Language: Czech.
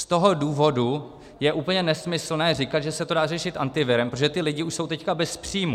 Z toho důvodu je úplně nesmyslné říkat, že se to dá řešit antivirem, protože ti lidé už jsou teď bez příjmu.